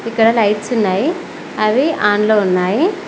ఇక్కడ లైట్స్ ఉన్నాయి అవి ఆన్ లో ఉన్నాయ్.